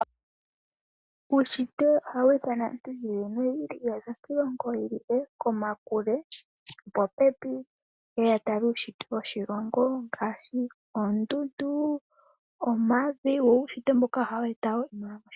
Uushitwe ohawu ithana aantu yi ili noyi ili ya za kiilongo yi ilile, komakule, popepi ye ye ya tale uushitwe woshilongo ngaashi oondundu, omavi wo uushitwe mboka ohawu eta wo iimaliwa moshilongo.